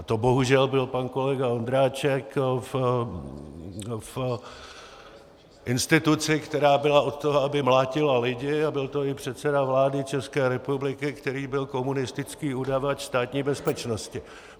A to bohužel byl pan kolega Ondráček v instituci, která byla od toho, aby mlátila lidi, a byl to i předseda vlády České republiky, který byl komunistický udavač Státní bezpečnosti.